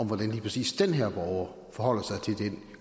hvordan lige præcis den her borger forholder sig til den